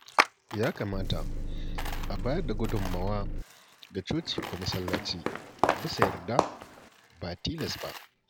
Ya kamata a bayar da gudummawa ga coci ko masallaci bisa yarda, ba tilas ba.